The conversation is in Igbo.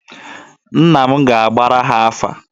Nna m ga-agbara ha afa.